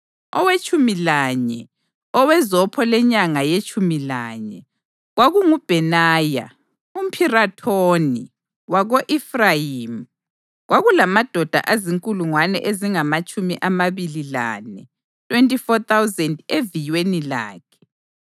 Owetshumi lanye, owezopho lenyanga yetshumi lanye, kwakunguBhenaya umPhirathoni wako-Efrayimi. Kwakulamadoda azinkulungwane ezingamatshumi amabili lane (24,000) eviyweni lakhe.